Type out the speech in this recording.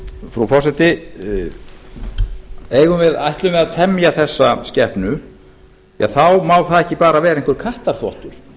frú forseti ætlum við að temja þessa skepnu þá má það bara ekki vera einhver kattarþvottur